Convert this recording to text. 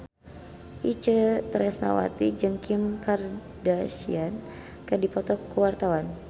Itje Tresnawati jeung Kim Kardashian keur dipoto ku wartawan